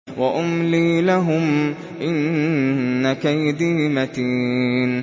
وَأُمْلِي لَهُمْ ۚ إِنَّ كَيْدِي مَتِينٌ